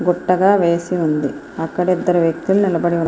గుట్టగా వేసి ఉంది అక్కడ ఇద్దరు వ్యక్తులు నిలబడి ఉన్ --